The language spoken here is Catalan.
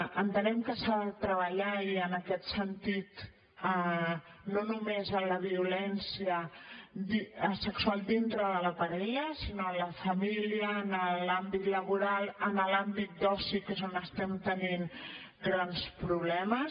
entenem que s’ha de treballar i en aquest sentit no només en la violència sexual dintre de la parella sinó en la família en l’àmbit laboral en l’àmbit d’oci que és on estem tenint grans problemes